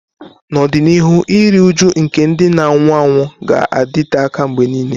N'ọdịnihu, iru újú nke ndị na-anwụ anwụ ga-adịte aka mgbe nile.